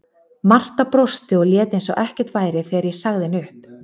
Marta brosti og lét eins og ekkert væri þegar ég sagði henni upp.